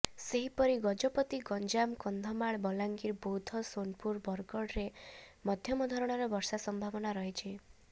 ସେହିପରି ଗଜପତି ଗଞ୍ଜାମ କନ୍ଧମାଳ ବଲାଙ୍ଗିର ବୌଦ୍ଧ ସୋନପୁର ବରଗଡରେ ମଧ୍ୟମ ଧରଣର ବର୍ଷା ସମ୍ଭାବନା ରହିଛି